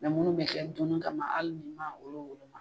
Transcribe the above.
Mɛ minnu bɛ kɛ dumuni kama hali ni ma olu